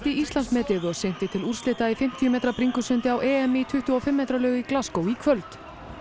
Íslandsmetið og synti til úrslita í fimmtíu metra bringusundi á EM í tuttugu og fimm metra laug í í kvöld